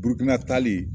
Burukina tali